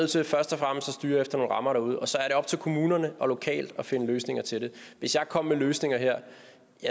til først og fremmest at styre efter nogle rammer derude og så er det op til kommunerne lokalt at finde løsninger til det hvis jeg kom med løsninger her